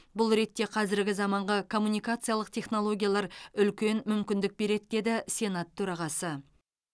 бұл ретте қазіргі заманғы коммункациялық технологиялар үлкен мүмкіндік береді деді сенат төрағасы